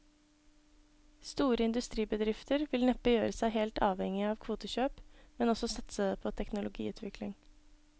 Store industribedrifter vil neppe gjøre seg helt avhengige av kvotekjøp, men også satse på teknologiutvikling.